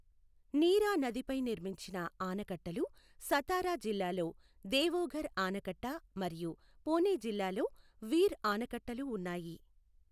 నీరా నదిపై నిర్మించిన ఆనకట్టలు సతారా జిల్లాలో దేఓఘర్ ఆనకట్ట మరియు పుణె జిల్లాలో వీర్ ఆనకట్టలు ఉన్నాయి.